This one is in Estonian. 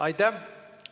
Aitäh!